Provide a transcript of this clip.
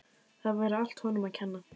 Það væri allt honum að kenna.